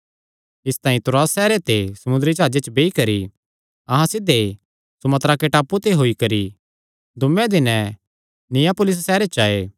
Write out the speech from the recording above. इसतांई त्रोआस सैहरे ते समुंदरी जाह्जे च बेई करी अहां सिध्धे सुमात्राके टापू ते होई करी दूये दिने नियापुलिस सैहरे च आये